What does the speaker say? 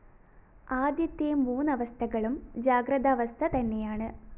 ആദ്യത്തെ മൂന്നവസ്ഥകളും ജാഗ്രദാവസ്ഥ തന്നെയാണ്